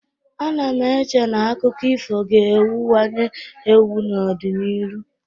Ana m eche na akụkọ ifo ga-ewuwanye ewu n'ọdịnihu.